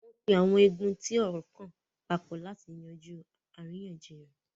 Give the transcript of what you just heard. wọ́n pe àwọn igun tí ọ̀rọ́ kàn papọ̀ láti yanjú àríyànjiyàn.